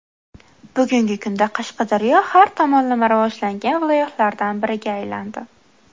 Bugungi kunda Qashqadaryo har tomonlama rivojlangan viloyatlardan biriga aylandi.